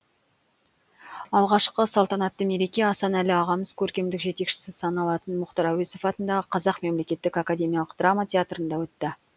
алғашқы салтанатты мереке асанәлі ағамыз көркемдік жетекшісі саналатын мұхтар әуезов атындағы қазақ мемлекеттік академиялық драма театрында өтті